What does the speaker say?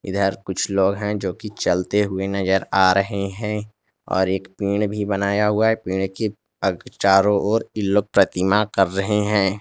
कुछ लोग हैं जो की चलते हुए नजर आ रहे हैं और एक पेड़ भी बनाया हुआ है पेड़ की चारों ओर ई लोग प्रतिमा कर रहे हैं।